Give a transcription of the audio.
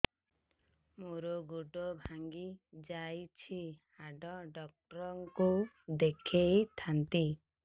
ମୋର ଗୋଡ ଭାଙ୍ଗି ଯାଇଛି ହାଡ ଡକ୍ଟର ଙ୍କୁ ଦେଖେଇ ଥାନ୍ତି